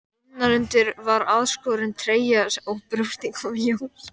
Innanundir var aðskorin treyja og brjóstin komu í ljós.